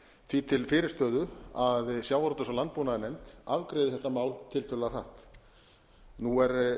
því til fyrirstöðu að sjávarútvegs og landbúnaðarnefnd afgreiði þetta mál tiltölulega hratt nú er